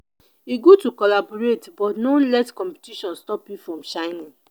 e good to collaborate but no let competition stop you from shining.